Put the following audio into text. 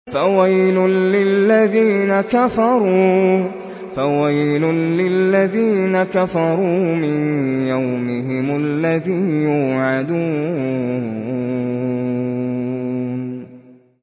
فَوَيْلٌ لِّلَّذِينَ كَفَرُوا مِن يَوْمِهِمُ الَّذِي يُوعَدُونَ